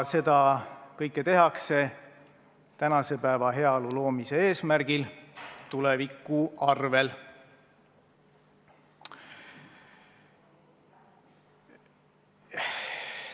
Seda kõike tehakse tänase päeva heaolu loomise eesmärgil, tuleviku arvel.